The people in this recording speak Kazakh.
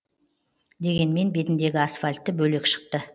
дегенмен бетіндегі асфальті бөлек шықты